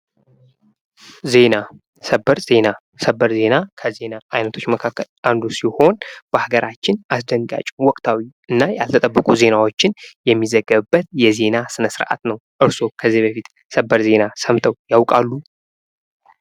ዜና ሰበር ዜና:-ሰበር ዜና ከዜና አይነቶች መካከል አንዱ ሲሆን በሀገራችን አስደንጋጭ፣ ወቅታዊ እና ያልተጠበቁ ዜናዎችን የሚዘገብበት የዜና ስነ-ስርዓት ነው። እርሶ ከዚህ በፊት ሰበር ዜና ሰምተው ያውቃሉ?